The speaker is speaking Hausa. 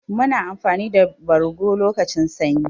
Muna amfani da bargo lokacin sanyi.